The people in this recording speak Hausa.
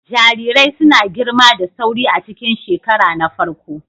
Jarirai suna girma da sauri a cikin shekara na farko.